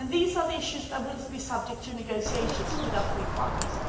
These are the issues that will be subject to negotiations with our three partners